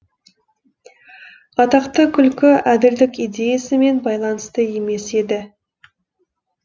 атақты күлкі әділдік идеясымен байланысты емес еді